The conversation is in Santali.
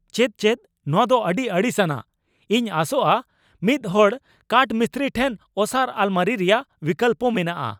ᱪᱮᱫ ᱪᱮᱫ? ᱱᱚᱶᱟ ᱫᱚ ᱟᱹᱰᱤ ᱟᱹᱲᱤᱥ ᱟᱱᱟᱜ ! ᱤᱧ ᱟᱥᱚᱜᱼᱟ ᱢᱤᱫ ᱦᱚᱲ ᱠᱟᱴᱷ ᱢᱤᱥᱛᱨᱤ ᱴᱷᱮᱱ ᱚᱥᱟᱨ ᱟᱞᱢᱟᱹᱨᱤ ᱨᱮᱭᱟᱜ ᱵᱤᱠᱚᱞᱯᱚ ᱢᱮᱱᱟᱜᱼᱟ ᱾